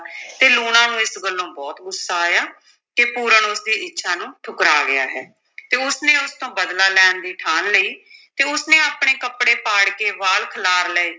ਤੇ ਲੂਣਾ ਨੂੰ ਇਸ ਗੱਲੋਂ ਬਹੁਤ ਗੁੱਸਾ ਆਇਆ ਕਿ ਪੂਰਨ ਉਸ ਦੀ ਇੱਛਾ ਨੂੰ ਠੁਕਰਾ ਗਿਆ ਹੈ ਤੇ ਉਸ ਨੇ ਉਸ ਤੋਂ ਬਦਲਾ ਲੈਣ ਦੀ ਠਾਣ ਲਈ ਤੇ ਉਸ ਨੇ ਆਪਣੇ ਕੱਪੜੇ ਪਾੜ ਕੇ ਵਾਲ ਖਿਲਾਰ ਲਏ,